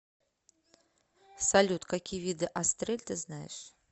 салют какие виды астрель ты знаешь